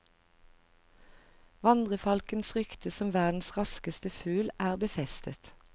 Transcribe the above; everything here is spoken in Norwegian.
Vandrefalkens rykte som verdens raskeste fugl er befestet.